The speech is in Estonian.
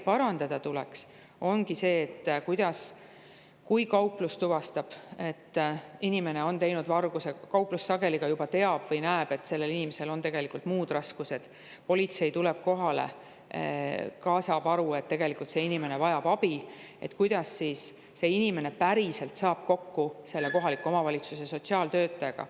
Parandada tuleks seda, et kui kauplus tuvastab, et inimene on pannud toime varguse, ja kauplus sageli juba teab või näeb, et sellel inimesel on muud raskused, ning kui politsei tuleb kohale, ka nemad saavad aru, et tegelikult see inimene vajab abi, siis kuidas see inimene peaks saama päriselt kokku kohaliku omavalitsuse sotsiaaltöötajaga.